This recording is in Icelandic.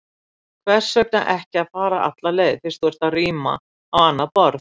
Hvers vegna ekki að fara alla leið, fyrst þú ert að ríma á annað borð?